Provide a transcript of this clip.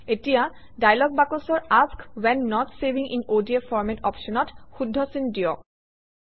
এতিয়া ডায়লগ বাকচৰ ask when not saving in ODF format অপশ্যনত শুদ্ধ চিন দিয়ক